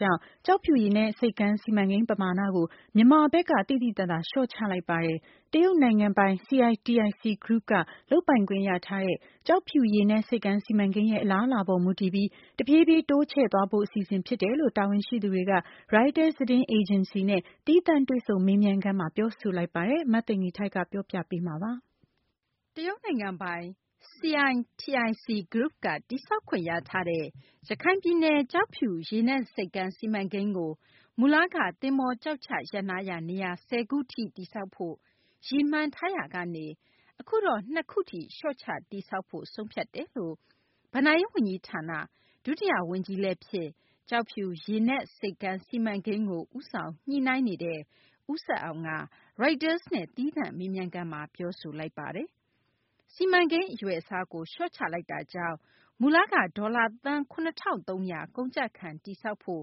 ကြောင့် ကျောက်ဖြူ ရေနက်ဆိပ်ကမ်း စီမံကိန်း ပမာဏကို မြန်မာဘက်က သိသိသာသာ လျှော့ချလိုက်ပါတယ်။ တရုတ်နိုင်ငံပိုင် CITIC Group က လုပ်ပိုင်ခွင့်ရထားတဲ့ ကျောက်ဖြူရေနက် ဆိပ်ကမ်းစီမံကိန်းရဲ့ အလားအလာ ပေါ်မူတည်ပြီး တဖြည်းဖြည်း တိုးချဲ့သွားဖို့ အစီအစဉ် ဖြစ်တယ်လို့ တာဝန်ရှိသူတွေက Reuters သတင်းအေဂျင်စီနဲ့ သီးသန့် တွေ့ဆုံမေးမြန်းခန်းမှာ ပြောဆိုလိုက်ပါတယ်။ မသိင်္ဂ ီထိုက် စုစည်းတင်ပြထားပါတယ်။ တရုတ်နိုင်ငံပိုင် CITIC Group က တည်ဆောက်ခွင့် ရထားတဲ့ ရခိုင်ပြည်နယ် ကျောက်ဖြူရေနက် ဆိပ်ကမ်း စီမံကိန်းကို မူလက သဘောၤကျောက်ချရပ်နားရာ နေရာ ၁၀ ခုထိ တည်ဆောက်ဖို့ ရည်မှန်းထားရာကနေ အခုတော့ ၂ ခုထိ လျှော့ချ တည်ဆောက်ဖို့ ဆုံးဖြတ်ကြောင်း ဘဏ္ဍာရေး ဝန်ကြီးဌာန ဒုတိယ ဝန်ကြီးလည်းဖြစ် ကျောက်ဖြူရေနပ် ဆိပ်ကမ်း စီမံကိန်းကို ဦးဆောင် ညှိနှိုင်းနေတဲ့ ဦးဆက်အောင်က Reuters နဲ့ သီးသန့် မေးမြန်းခန်းမှာ ပြောဆိုခဲ့တာပါ။ စီမံကိန်း အရွယ်အစားကို လျှော့ချလိုက်တာကြောင့်မူလက ဒေါ်လာ သန်း ၇၃၀၀ ကုန်ကျခံ တည်ဆောက်ဖို့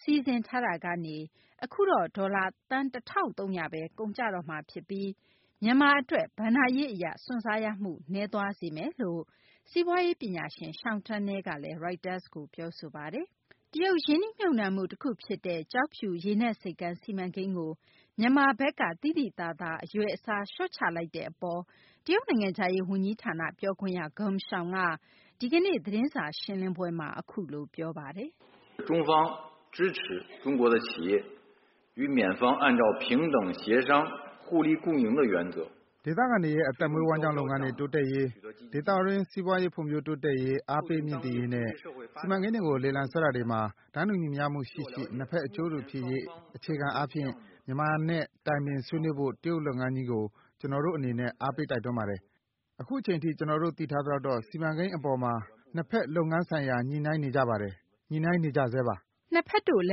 စီစဉ်ထားတာကနေ အခုတော့ ဒေါ်လာ သန်း ၁၃၀၀ ဘဲ ကုန်ကျတော့မှာ ဖြစ်ပြီး မြန်မာ အတွက် ဘဏ္ဍာရေး အရ စွန့်စားရမှု နည်းသွားစေမယ်လို့လည်း စီးပွားရေး ပညာရှင် Sean Turnell က Reuters ကို ပြောဆိုပါတယ်။ တရုတ်ရင်းနှီးမြှုပ်နှံမှု တခုဖြစ်တဲ့ ကျောက်ဖြူရေနက် ဆိပ်ကမ်း စီမံကိန်းကို မြန်မာဘက်က သိသိသာသာ အရွယ်အစား လျှော့ချလိုက်တဲ့ အပေါ် တရုတ်နိုင်ငံခြားရေး ဝန်ကြီးဌာန ပြောခွင့်ရ Geng Shuang က ဒီကနေ့ သတင်းစာ ရှင်းလင်းပွဲမှာ အခုလို ပြောဆိုခဲ့ပါတယ်။ "ဒေသခံတွေရဲ့ အသက်မွေးဝမ်းကျောင်း လုပ်ငန်းတွေ တိုးတက်ရေး၊ ဒေသတွင်း စီးပွားရေး ဖွံ့ဖြိုးတိုးတက်ရေး အားပေးမြှင့်တင်ရေးနဲ့ စီမံကိန်းတွေကို လေလံဆွဲတာတွေမှာ အခါမှာ တန်းတူညီမျှရှိရှိ နှစ်ဘက် အကျိုးတူ ဖြစ်ရေး အခြေခံအားဖြင့် မြန်မာနဲ့ တိုင်ပင် ဆွေးနွေးဖို့ တရုတ်လုပ်ငန်းကြီးကို ကျနော်တို့ အနေနဲ့ အားပေးတိုက်တွန်းပါတယ်။ အခုအချိန်ထိ ကျနော် သိထားသလောက်တော့ ဒီစီမံကိန်း အပေါ်မှာ နှစ်ဘက်တို့ လုပ်ငန်းဆိုင်ရာ ညှိနှိုင်းနေကြပါတယ်။ ညှိနေကြဆဲပါ။" နှစ်ဘက်တို့ လ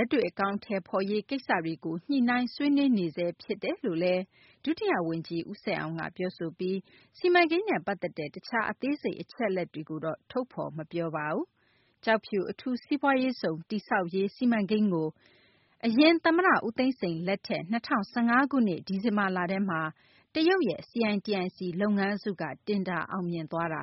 က်တွေ့ အကောင်အထည်ဖော်ရေး ကိစ္စတွေကို ညှိနှိုင်းဆွေးနွေးဆဲ ဖြစ်တယ်လို့ ဒုတိယ ဝန်ကြီး ဦးဆက်အောင်က ပြောဆိုပြီး စီမံကိန်းနဲ့ ပတ်သက်တဲ့ တခြား အသေးစိတ် အချက်အလက်တွေကိုတော့ ထုတ်ဖော် မပြောပါဘူး။ ကျောက်ဖြူ အထူးစီးပွားရေးဇုံ တည်ဆောက်ရေးကို သမ္မတဟောင်း ဦးသိန်းစိန် လက်ထက် ၂၀၁၅ ခုနှစ် ဒီဇင်ဘာလထဲမှာ တရုတ်ရဲ့ CITIC လုပ်ငန်းစုက တင်ဒါ အောင်မြင်ခဲ့တာ